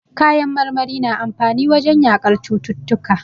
Kayan marmari na amfani wajen yaƙar cututtuka.